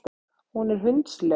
Hún er hundsleg.